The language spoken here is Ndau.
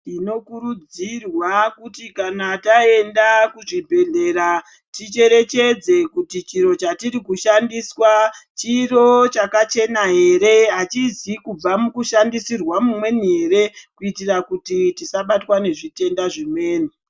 Tinokurudzirwa kuti kana taenda kuzvibhedhlera ticherechedze kuti chiro chatiri kushandiswa chiro chakachena here, hachizi kubva mukushandisirwa mumweni here kuitira kuti tisabatwa nezvitenda zvimweni.